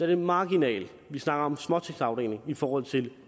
er marginalt vi snakker om småtingsafdelingen i forhold til